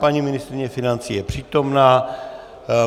Paní ministryně financí je přítomna.